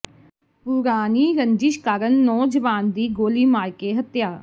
ਪੁਰਾਣੀ ਰੰਜਿਸ਼ ਕਾਰਨ ਨੌਜਵਾਨ ਦੀ ਗੋਲੀ ਮਾਰ ਕੇ ਹੱਤਿਆ